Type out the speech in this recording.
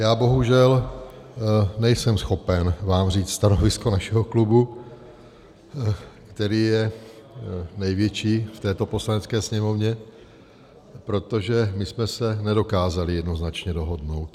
Já bohužel nejsem schopen vám říct stanovisko našeho klubu, který je největší v této Poslanecké sněmovně, protože my jsme se nedokázali jednoznačně dohodnout.